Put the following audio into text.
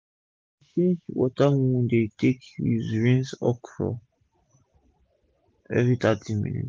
we dey change d water wey we dey take use rinse okro everi thirty minutes